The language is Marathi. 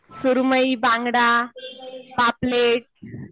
सुरमयी, बांगडा, पापलेट